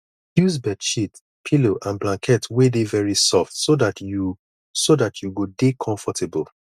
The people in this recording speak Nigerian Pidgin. use bedsheet pillow and blanket wey dey very soft so dat you so dat you go dey comfortable